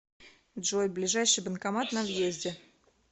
джой ближайший банкомат на въезде